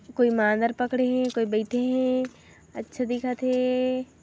कोई ईमानदार पकडे हे कोई बैठे हे अच्छा दिखत हे।